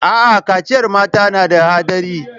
Aa, kaciyar mata na da haɗari